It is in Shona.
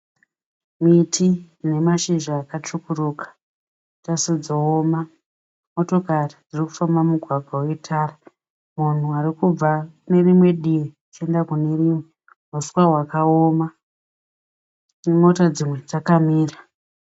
Miti ine mashizha yakatsvukuruka. Motokari dzirikufamba mumugwagwa wetara . Vanhu varikubva kunerimwe divi vachienda kune rimwe divi. Pasi pane uswa hwakaoma . Motokari dzakamira.